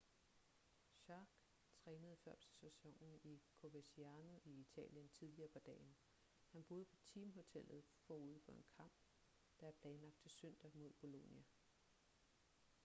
jarque trænede før sæsonen i coverciano i italien tidligere på dagen han boede på teamhotellet forud for en kamp der er planlagt til søndag mod bolonia